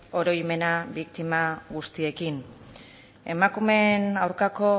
oroimena biktima guztiekin emakumeen aurkako